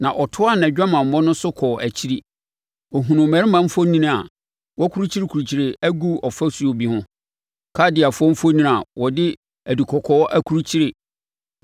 “Na ɔtoaa nʼadwamammɔ no so kɔɔ akyiri. Ɔhunuu mmarima mfoni a wɔakurukyire agu ɔfasuo bi ho, Kaldeafoɔ mfoni a wɔde adukɔkɔɔ akrukyire